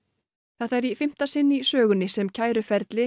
þetta er í fimmta sinn í sögunni sem kæruferli